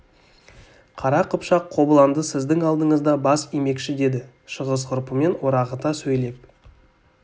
қара қыпшақ қобыланды сіздің алдыңызда бас имекші деді шығыс ғұрпымен орағыта сөйлеп